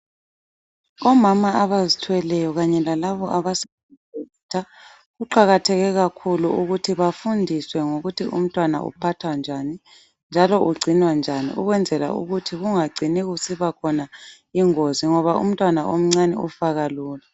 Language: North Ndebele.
Omama abazithweleyo kanye lalabo abasanda kubeletha kuqakatheke kakhulu ukuthi bafundiswe ngokuthi umntwana uphathwa njani, njalo ugcinwa njani ukwenzela ukuthi kungagcini kusiba khona ingozi ngoba umntwana omncane ufa kalula